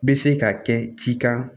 Bɛ se ka kɛ cikan